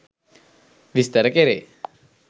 විස්තර කෙරේ.